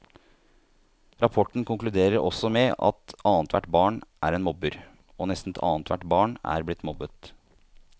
Rapporten konkluderer også med at annethvert barn er en mobber, og nesten annethvert barn er blitt mobbet.